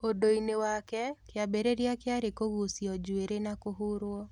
Ũndũ-inĩ wake, kĩambĩrĩria kĩarĩ kũgucĩo njuĩrĩ na kũhũrũo.